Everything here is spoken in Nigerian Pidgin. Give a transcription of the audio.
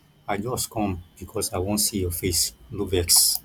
i just com because i wan see your face no vex